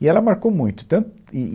E ela marcou muito. Tanto, e e